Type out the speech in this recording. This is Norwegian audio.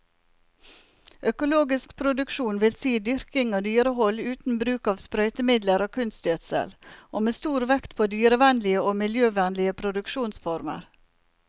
Økologisk produksjon vil si dyrking og dyrehold uten bruk av sprøytemidler og kunstgjødsel, og med stor vekt på dyrevennlige og miljøvennlige produksjonsformer.